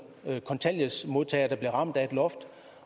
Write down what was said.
kontanthjælpsmodtagere der bliver ramt af et loft